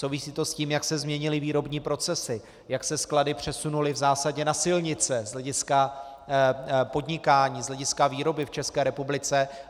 Souvisí to s tím, jak se změnily výrobní procesy, jak se sklady přesunuly v zásadě na silnice z hlediska podnikání, z hlediska výroby v České republice.